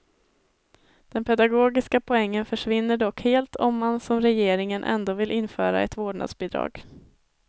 Den pedagogiska poängen försvinner dock helt om man, som regeringen, ändå vill införa ett vårdnadsbidrag.